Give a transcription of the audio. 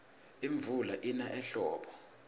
imvula ina ehlobo